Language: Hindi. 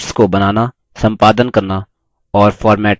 charts को बनाना संपादन करना और फॉर्मेट करना